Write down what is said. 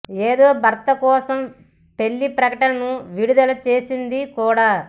ఏడో భర్త కోసం పెళ్లి ప్రకటనను విడుదల చేసింది కూడా